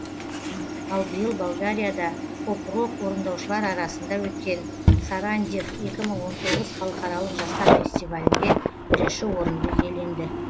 ал биыл болгарияда поп рок орындаушылар арасында өткен сарандев екі мың он тоғыз халықаралық жастар фестивалінде бірінші орынды иеленді